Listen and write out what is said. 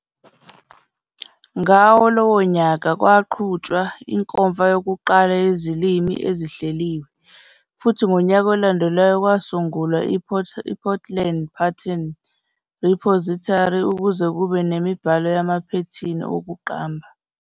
Ngawo lowo nyaka, kwaqhutshwa inkomfa yokuqala yezilimi ezihleliwe, futhi ngonyaka olandelayo kwasungulwa iPortland Pattern Repository ukuze kube yimibhalo yamaphethini wokuqamba.